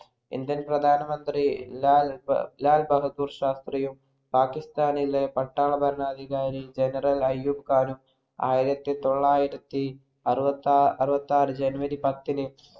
Indian പ്രധാനമന്ത്രി ലാൽബഹാദൂർശാസ്ത്രീയും, പാകിസ്ഥാനിലെ പട്ടാള ഭരണാധികാരി general അയ്യൂബ്ഖാനും ആയിരത്തിതൊള്ളായിരത്തിഅറുപത്താഅറുപത്താറ് january പത്തിന്